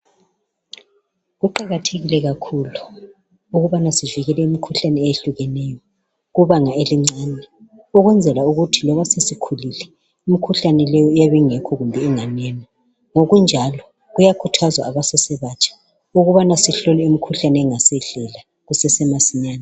Kuqakathekile kakhulu ukubana sivikele imikhuhlane eyehlukeneyo kubanga elincane ukwenzela ukuthi loba sesikhulile imikhuhlane leyo iyabe ingekho kumbe inganene ngokunjalo kuyakhuthazwa abasesebatsha ukubana sihlole imikhuhlane engasehlela kusesemasinyane .